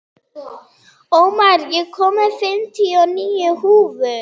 Ómar, ég kom með fimmtíu og níu húfur!